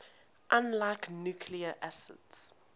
unlike nucleic acids